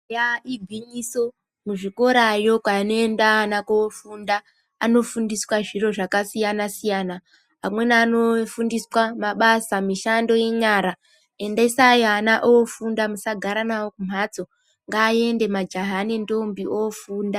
Yaa igwinyiso, muzvikorayo kunoenda ana koofunda, ana anofundiswa zviro zvakasiyana-siyana. Amweni anofundiswa mabasa, mishando yenyara. Endesai ana oofunda musagara nawo kumhatso, ngaaende majaha nendombi oofunda.